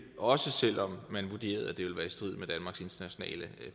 også selv om man vurderede at det ville være i strid med danmarks internationale